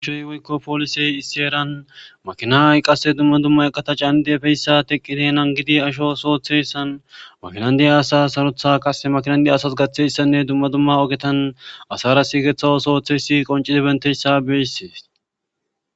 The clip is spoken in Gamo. Aihoy woykko poolisey issi eran makinay qasse dumma dumma eqata caanidi efeyssa teqqide nan gidi asho sootheyssan makinandiya asa sarotha qasse makinandiya asas gaththeyssanne dumma dumma ogetan asara siigeththa osooththeyssi qoncidi bentessa beyssees